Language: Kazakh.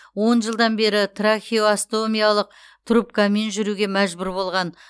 он жылдан бері трахеостомиялық трубкамен жүруге мәжбүр болған